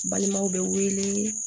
Balimaw bɛ wele